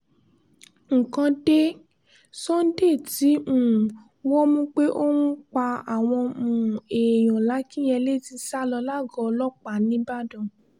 nǹkan dé sunday tí um wọ́n mú pé ó ń pa àwọn um èèyàn làkìnyẹlé ti sá lọ lágọ̀ọ́ ọlọ́pàá ńìbàdàn